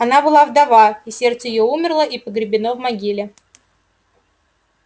она была вдова и сердце её умерло и погребено в могиле